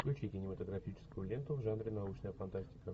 включи кинематографическую ленту в жанре научная фантастика